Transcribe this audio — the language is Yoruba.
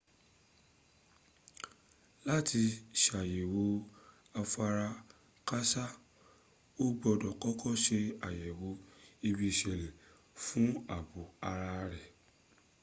láti sàyẹ̀wò afarakáásá o gbọ́dọ̀ kọ́kọ́ se àyèwò ibi ìṣẹ̀lẹ̀ fún ààbò ara rẹ